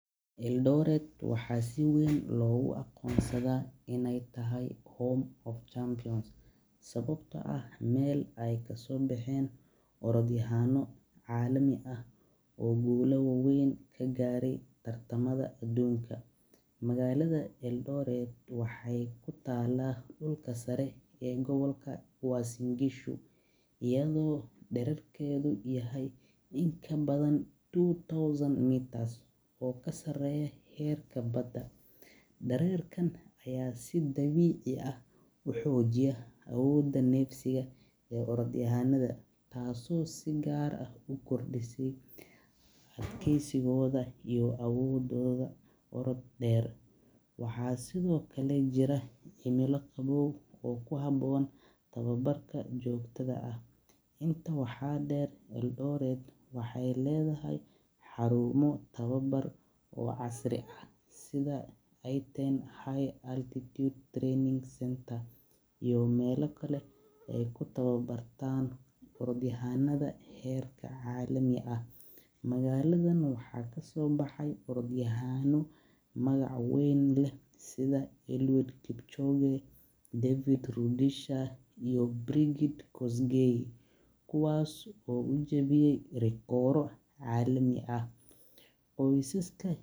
Eldoret waxaa si weyn loogu aqonnsada inaay tahay meel aay kasoo bexeen ciyaaro waweyn, ayado dareerkeda yahay mid kasareeya heerka Bada, taas oo si gaar ah ukordies awoodeeda, tababar joogta ah, waxeey ledahay xaruumo casri ah, iyo meela kale aay kutaba bartaan, waxaa kasoo bexeen orodyahana waweyn.